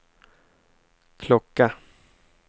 klocka